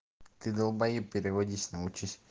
ты долбаеб переводись научись